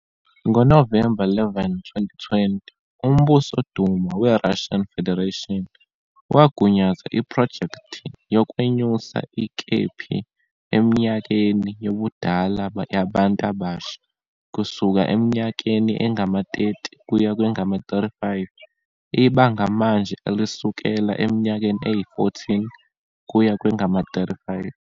NgoNovemba 11, 2020, uMbuso Duma weRussian Federation wagunyaza iphrojekthi yokwenyusa ikephi eminyakeni yobudala yabantu abasha kusuka eminyakeni engama-30 kuye kwengama-35, ibanga manje elisukela eminyakeni eyi-14 kuye kwengama-35.